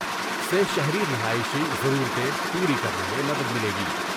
سے شہری رہائشی ضرورتیں پوری کرنے میں مدد ملے گی ۔